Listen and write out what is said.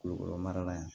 Kulukoro mara la yen